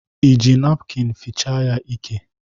I ji napkịn fichaa ya ike?